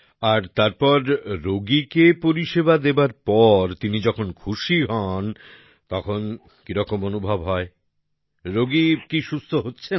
আর তারপর রোগীকে পরিষেবা দেবার পর তিনি যখন খুশি হন তখন কি রকম অনুভব হয় রোগী কি সুস্থ হচ্ছেন